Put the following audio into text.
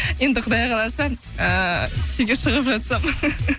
енді құдай қаласа ііі күйеуге шығып жатсам